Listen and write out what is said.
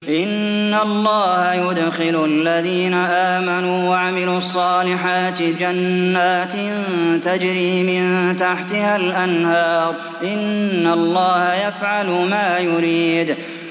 إِنَّ اللَّهَ يُدْخِلُ الَّذِينَ آمَنُوا وَعَمِلُوا الصَّالِحَاتِ جَنَّاتٍ تَجْرِي مِن تَحْتِهَا الْأَنْهَارُ ۚ إِنَّ اللَّهَ يَفْعَلُ مَا يُرِيدُ